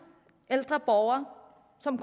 ældre borgere som